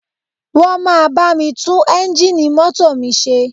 Wọ́n máa bá mi tún eńjíìnì mọ́tò mi ṣe